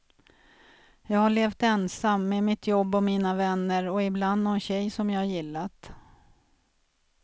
Jag har levt ensam, med mitt jobb och mina vänner och ibland någon tjej som jag gillat.